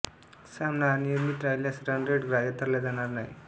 सामना अनिर्णित राहिल्यास रन रेट ग्राह्य धरला जाणार नाही